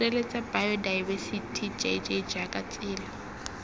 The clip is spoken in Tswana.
sireletsa baotaebesithi jj jaaka tsela